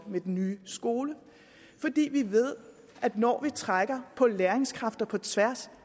med den nye skole vi ved at når vi trækker på læringskræfter på tværs